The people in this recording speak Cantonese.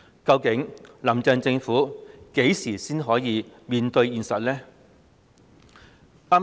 究竟"林鄭"政府何時才能面對現實？